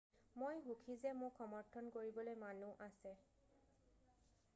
মই সুখী যে মোক সমৰ্থন কৰিবলৈ মানুহ আছে